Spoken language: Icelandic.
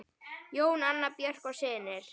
Jón, Anna Björk og synir.